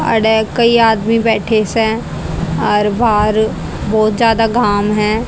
अड़े कई आदमी बैठे सें और बाहर बहोत ज्यादा घाम है।